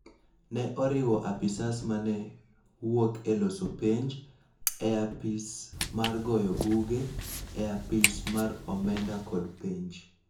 ne oriwo apisas ma ne wuok e loso penj, e Apis mar goyo buge, e Apis mar omenda kod penj.